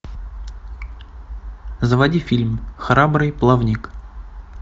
заводи фильм храбрый плавник